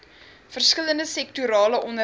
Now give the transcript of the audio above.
verskillende sektorale onderwys